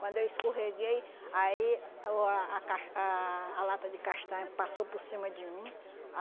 Quando eu escorreguei, aí uh ah a car ah a lata de castanha passou por cima de mim.